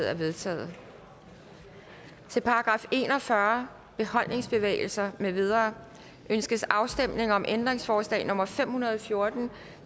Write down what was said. er vedtaget til § en og fyrre beholdningsbevægelser med videre ønskes afstemning om ændringsforslag nummer fem hundrede og fjorten